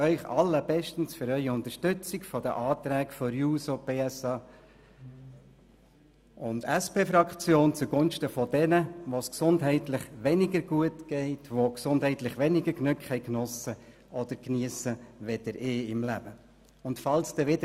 Ich danke Ihnen sehr für Ihre Unterstützung der Anträge der SP-JUSO-PSAFraktion zugunsten derjenigen, denen es aus gesundheitlichen Gründen weniger gut geht, die im Leben gesundheitlich weniger Glück hatten oder haben als ich.